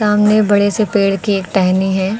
सामने बड़े से पेड़ की एक टहनी है।